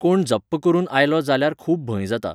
कोण जप्प करून आयलो जाल्यार खूब भंय जाता.